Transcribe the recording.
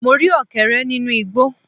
Mo rí Ọ̀kẹ́rẹ́ nínú igbó